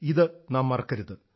ഇത് നാം മറക്കരുത്